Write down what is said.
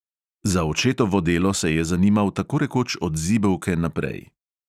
Za očetovo delo se je zanimal tako rekoč od zibelke naprej.